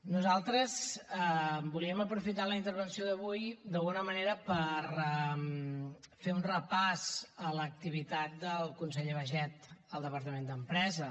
nosaltres volíem aprofitar la intervenció d’avui d’alguna manera per fer un repàs a l’activitat del conseller baiget al departament d’empresa